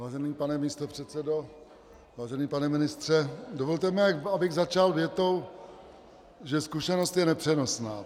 Vážený pane místopředsedo, vážený pane ministře, dovolte mi, abych začal větou, že zkušenost je nepřenosná.